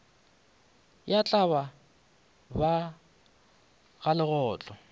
ya tlaba ba ga legotlo